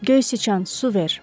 Göy siçan, su ver.